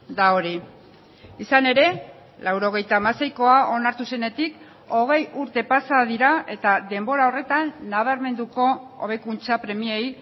da hori izan ere laurogeita hamaseikoa onartu zenetik hogei urte pasa dira eta denbora horretan nabarmenduko hobekuntza premiei